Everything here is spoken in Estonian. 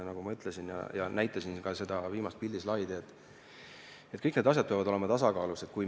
Nagu ma ütlesin – näitasin selle kohta ka seda viimast pildislaidi –, peavad kõik need asjad olema tasakaalus.